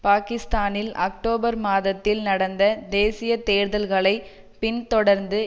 பாகிஸ்தானில் அக்டோபர் மாதத்தில் நடந்த தேசிய தேர்தல்களைப் பின்தொடர்ந்து